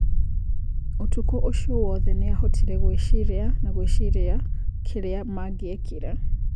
ũtukũ ũcio wothe niahotire gwĩciria na gwĩciria kĩrĩa mangiekire.